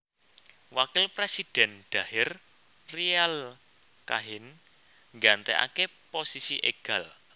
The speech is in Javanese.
Wakil presidhèn Dahir Riyale Kahin nggantèkaké posisi Egal